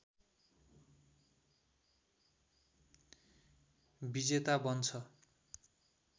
विजेता बन्छ